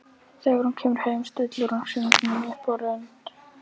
Þegar hún kemur heim stillir hún hringnum upp á rönd.